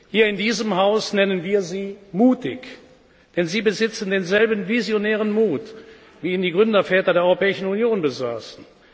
Hier in diesem Haus nennen wir Sie mutig, denn Sie besitzen denselben visionären Mut, wie ihn die Gründerväter der Europäischen Union besaßen.